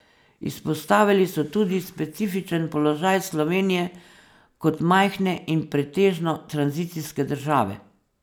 Izpostavili so tudi specifičen položaj Slovenije kot majhne in pretežno tranzicijske države.